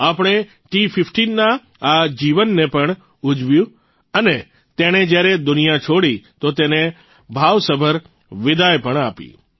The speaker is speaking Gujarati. આપણે ટી૧૫ના આ જીવનને પણ ઉજવ્યું અને તેણે જયારે દુનિયા છોડી તો તેને ભાવસભર વિદાઇ પણ આપી